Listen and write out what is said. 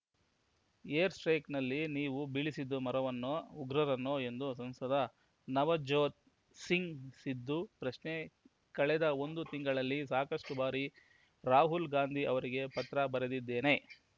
air strike ನಲ್ಲಿ ನೀವು ಬೀಳಿಸಿದ್ದು ಮರವನ್ನೋ ಉಗ್ರರನ್ನೋ ಎಂದು ಸಂಸದ ನವಜೋತ್ ಸಿಂಗ್ ಸಿಧು ಪ್ರಶ್ನೆ ಕಳೆದ ಒಂದು ತಿಂಗಳಲ್ಲಿ ಸಾಕಷ್ಟು ಬಾರಿ ರಾಹುಲ್ ಗಾಂಧಿ ಅವರಿಗೆ ಪತ್ರ ಬರೆದಿದ್ದೇನೆ